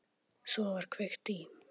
Svo var kveikt í.